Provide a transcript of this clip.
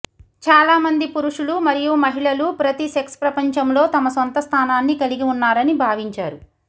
చాలామంది పురుషులు మరియు మహిళలు ప్రతి సెక్స్ ప్రపంచంలో తమ సొంత స్థానాన్ని కలిగి ఉన్నారని భావించారు